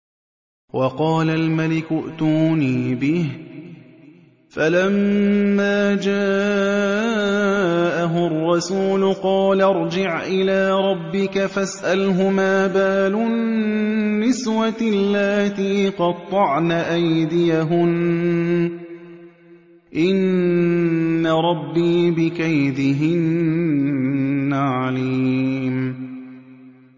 وَقَالَ الْمَلِكُ ائْتُونِي بِهِ ۖ فَلَمَّا جَاءَهُ الرَّسُولُ قَالَ ارْجِعْ إِلَىٰ رَبِّكَ فَاسْأَلْهُ مَا بَالُ النِّسْوَةِ اللَّاتِي قَطَّعْنَ أَيْدِيَهُنَّ ۚ إِنَّ رَبِّي بِكَيْدِهِنَّ عَلِيمٌ